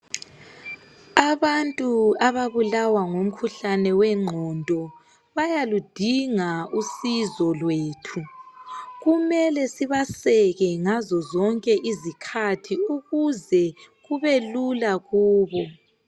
Abantu ababulawa ngumkhuhlane wengqondo bayaludinga usizo lwethu kumele sibaseke ngaze zonke izikhathi ukuze kubelula kubo.